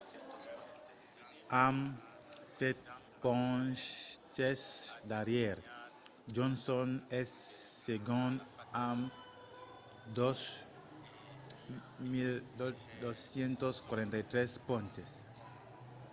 amb sèt ponches darrièr johnson es segond amb 2 243 ponches